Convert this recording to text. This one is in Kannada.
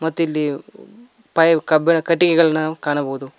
ಮತ್ತಿಲ್ಲಿ ಫೈವ್ ಕಬ್ಬಿಣ ಕಟ್ಟಿಗೆಗಲ್ನ ಕಾಣಬಹುದು.